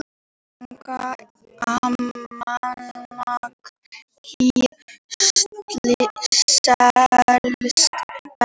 Almanak HÍ selst best